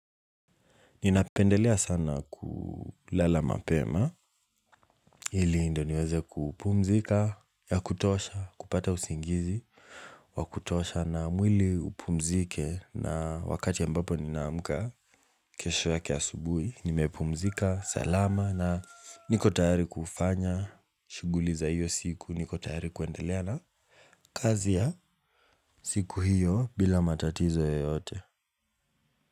Ninapendelea sana kulala mapema, ili ndio niweze kupumzika ya kutosha, kupata usingizi, wa kutosha na mwili upumzike na wakati ambapo ninaamka kesho yake asubuhi, nimepumzika, salama na niko tayari kufanya, shughuli za hiyo siku, niko tayari kuendelea na kazi ya siku hiyo bila matatizo yoyote.